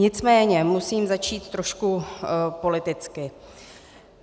Nicméně musím začít trošku politicky.